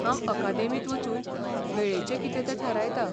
हांव अकादेमींत वचून वेळेचें कितें तें थारायतां.